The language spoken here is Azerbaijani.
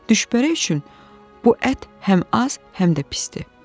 düşbərə üçün bu ət həm az, həm də pisdir.